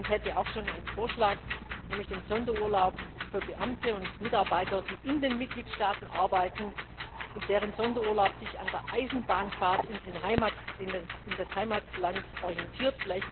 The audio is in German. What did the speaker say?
Ich hätte auch schon einen Vorschlag, nämlich zum Sonderurlaub für Beamte und Mitarbeiter, die in den Mitgliedstaaten arbeiten und deren Sonderurlaub sich an der Eisenbahnfahrt in das Heimatland orientiert.